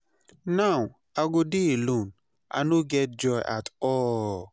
Now, I go dey alone, I no get joy at all.